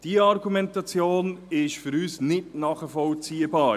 Diese Argumentation ist für uns nicht nachvollziehbar.